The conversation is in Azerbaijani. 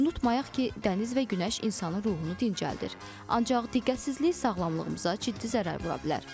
Unutmayaq ki, dəniz və günəş insanın ruhunu dincəldir, ancaq diqqətsizlik sağlamlığımıza ciddi zərər vura bilər.